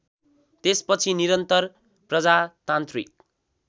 त्यसपछि निरन्तर प्रजातान्त्रिक